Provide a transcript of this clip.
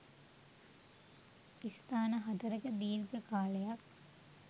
ස්ථාන හතරක දීර්ඝ කාලයක්